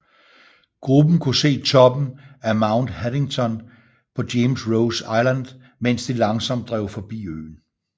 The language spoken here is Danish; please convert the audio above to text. Gruppen kunne se toppen af Mount Haddington på James Ross Island mens de langsomt drev forbi øen